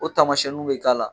O tamasiyɛnninw bɛ k'a la.